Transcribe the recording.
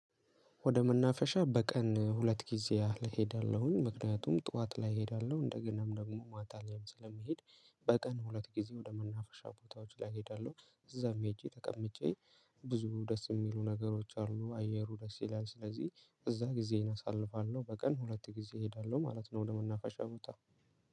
ወደ መናፈሻ በቀን ሁለት ጊዜ ያህል ሄዳለሁኝ ምክንያቱም ጠዋት ላይ እሄዳለሁ እንደገናም ደግሞ ማታ ላይም ስለምሄድ። በቀን ሁለት ጊዜ ወደ መናፍሻ ቦታዎች ላይ እሄዳለሁ እዛም ሄጄ ተቀምጬ ብዙ ደስ የሚሉ ነገሮች አሉ። አየሩ ደስ ይላል ስለዚህ እዛ ጊዜዬን አሳልፋለሁ። በቀን ሁለት ጊዜ እሄዳለሁ ማለት ነው። ወደ መናፋሻው ቦታ